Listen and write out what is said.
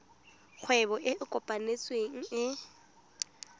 kgwebo e e kopetsweng e